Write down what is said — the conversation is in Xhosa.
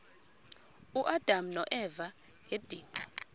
uadam noeva ngedinga